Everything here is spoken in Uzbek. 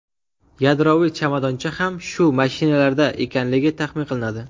Yadroviy chamadoncha ham shu mashinalarda ekanligi taxmin qilinadi.